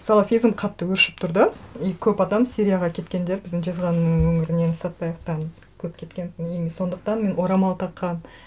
салафизм қатты өршіп тұрды и көп адам сирияға кеткендер біздің жезқазғанның өңірінен сәтбаевтан көп кеткентін и мен сондықтан мен орамал таққан